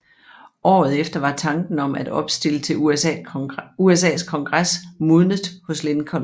Året efter var tanken om at opstille til USAs Kongres modnet hos Lincoln